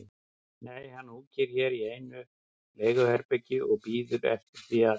Nei, hann húkir hér í einu leiguherbergi og bíður eftir því að